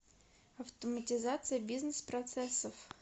автоматизация бизнес процессов